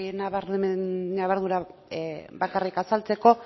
ñabardura bat bakarrik azaltzeko